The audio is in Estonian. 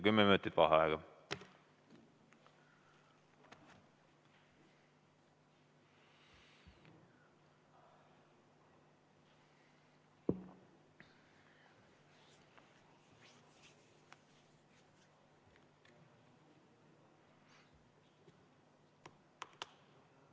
Kümme minutit vaheaega.